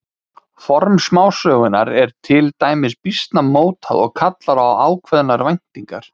Form smásögunnar er til dæmis býsna mótað og kallar á ákveðnar væntingar.